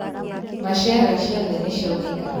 Machera ciothe niciaunĩka.